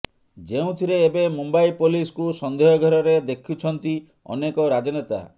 ଯେଉଁଥିରେ ଏବେ ମୁମ୍ବାଇ ପୋଲିସକୁ ସନ୍ଦେହ ଘେରରେ ଦେଖୁଛନ୍ତି ଅନେକ ରାଜନେତା